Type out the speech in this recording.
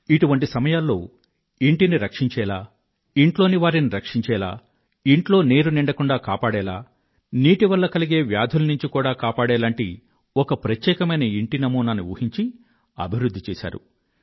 ఇటువంటి సమయాల్లో ఇంటిని రక్షించేలా ఇంట్లోని వారిని రక్షించేలా ఇంట్లో నీరు నిండకుండా కాపాడేలా నీటి వల్ల కలిగే వ్యాధుల నుండి కూడా కాపాడేటటువంటి ఒక ప్రత్యేకమైన ఇంటి నమూనాని ఊహించి అభివృధ్ధి చేశారు